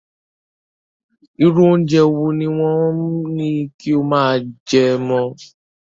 Irú oúnjẹ wo ni wọn ní kó máa jẹ mọ́?